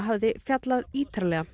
hafði fjallað ítarlega